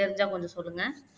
தெரிஞ்சா கொஞ்சம் சொல்லுங்க